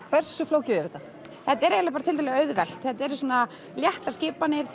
hversu flókið er þetta þetta er eiginlega bara tiltölulega auðvelt þetta eru svona léttar skipanir